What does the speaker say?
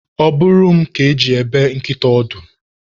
Ọ bụrụ m ka eji ebe nkịta ọdụ.